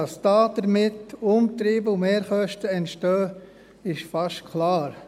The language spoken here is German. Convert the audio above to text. Dass damit Umtriebe und Mehrkosten entstehen, ist fast klar.